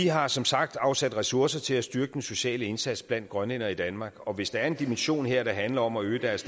har som sagt afsat ressourcer til at styrke den sociale indsats blandt grønlændere i danmark og hvis der er en dimension her der handler om at øge deres